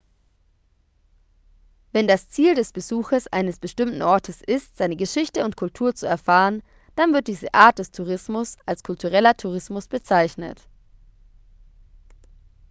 wenn das ziel des besuches eines bestimmten ortes ist seine geschichte und kultur zu erfahren dann wird diese art des tourismus als kultureller tourismus bezeichnet